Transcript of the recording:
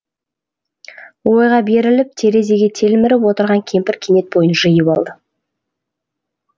ойға беріліп терезеге телміріп отырған кемпір кенет бойын жиып алды